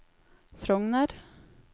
Frogner